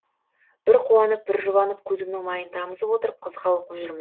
бір қуанып бір жұбанып көзімнің майын тамызып отырып қызыға оқып жүрмін